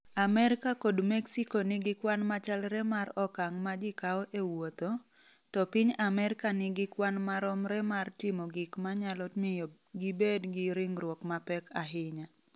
Amerka kod Mexico nigi kwan machalre mar okang’ ma ji kawo e wuotho, to piny Amerka nigi kwan maromre mar timo gik ma nyalo miyo gibed gi ringruok mapek ahinya.